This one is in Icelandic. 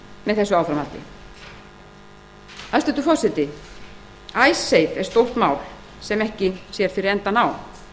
með þessu áframhaldi hæstvirtur forseti icesave er stórt mál sem ekki sér fyrir endann á